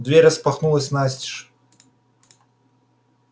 дверь распахнулась настежь